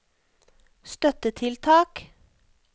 støttetiltak